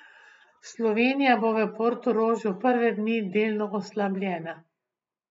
Slovenija bo v Portorožu prve dni delno oslabljena.